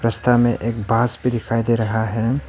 रस्ता में एक बांस भी दिखाई दे रहा है।